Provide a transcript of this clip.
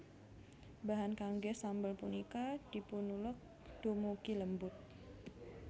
Bahan kanggé sambel punika dipunuleg dumugi lembut